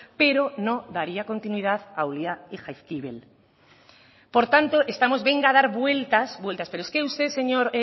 pero no daría continuidad a ulia y jaizkibel por tanto estamos venga a dar vueltas vueltas pero es que usted señor